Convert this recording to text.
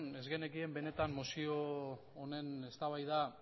ez genekien benetan mozio honen eztabaida